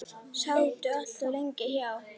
Sátu allt of lengi hjá.